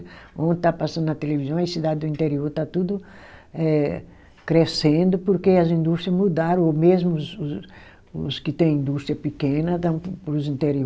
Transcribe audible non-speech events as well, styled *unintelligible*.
Ontem estava passando na televisão, as cidade do interior está tudo eh crescendo, porque as indústria mudaram, o mesmo os os que têm indústria pequena, *unintelligible* para os interior.